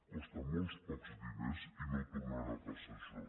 costa molt pocs diners i no tornarà a passar això